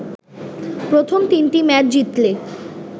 প্রথম তিনটি ম্যাচ জিতলে